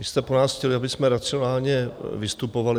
Vy jste po nás chtěli, abychom racionálně vystupovali.